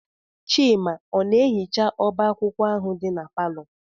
Chima ọ na-ehicha ọba akwụkwọ ahụ dị na palọ?